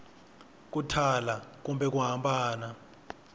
ku thala kumbe ku hambana